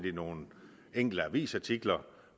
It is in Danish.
i nogle enkelte avisartikler